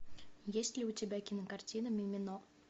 есть ли у тебя кинокартина мимино